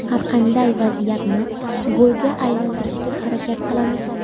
Har qanday vaziyatni golga aylantirishga harakat qilamiz.